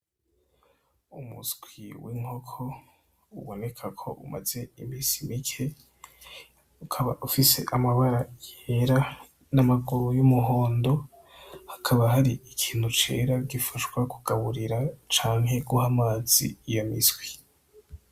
Umuswi w'inkoko uboneka ko umaze imisi mike, ukaba ufise amabara yera n'amaguru y'umuhondo, hakaba hari ikintu cera gifasha kugaburira canke guha amazi iyo miswi.